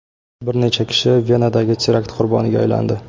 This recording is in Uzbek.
Bir necha kishi Venadagi terakt qurboniga aylandi.